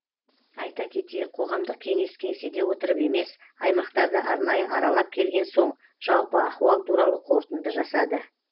айта кетейік қоғамдық кеңес кеңседе отырып емес аймақтарды арнайы аралап келген соң жалпы ахуал туралы қорытынды жасады